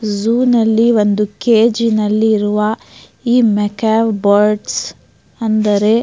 Zoo ನಲ್ಲಿ ಒಂದು ಕೇಜಿನಲ್ಲಿ ಇರುವ ಈ ಮೆಕ್ಯಾವ್ ಬರ್ಡ್ಸ್ ಅಂದರೆ.